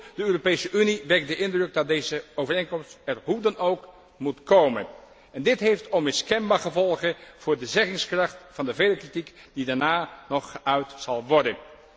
Maar goed, de Europese Unie wekt de indruk dat deze overeenkomst er hoe dan ook moet komen. Dit heeft onmiskenbaar gevolgen voor de zeggingskracht van de vele kritiek die daarna nog geuit zal worden.